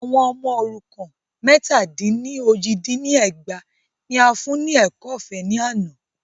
Àwọn ọmọ òrukàn mẹ́tà dín ní ójì dín ní ẹgbàá ní a fún ní ẹ̀kọ́ ọ̀fẹ́ ní àná.